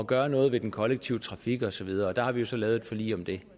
gøre noget ved den kollektive trafik og så videre der har vi så lavet et forlig om det